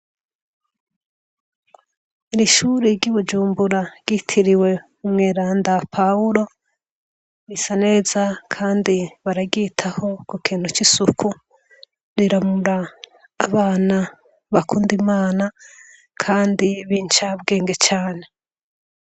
Irishuri ry'ubujumbura ritiriwe umweranda pahulo risaneza, kandi baragitaho ku kintu c'isuku riramura abana bakundaimana, kandi binca bwenge cane.